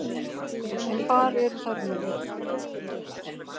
En hvar eru þær nú?